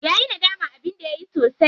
Yayi nadaman abin da yayi sosai.